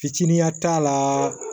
Fitininya t'a la